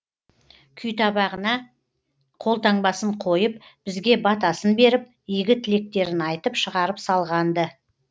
күйтабағына қолтаңбасын қойып бізге батасын беріп игі тілектерін айтып шығарып салған ды